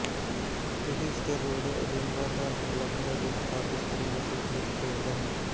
ਇਹ Easter Road Edinburgh ਅਧਾਰਤ club ਹੈ ਜੋ ਸਕਾਟਿਸ਼ ਪ੍ਰੀਮੀਅਰਸ਼ਿਪ ਵਿੱਚ ਖੇਡਦਾ ਹੈ